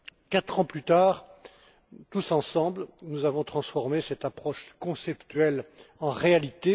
Quatre ans plus tard, tous ensemble, nous avons transformé cette approche conceptuelle en réalité.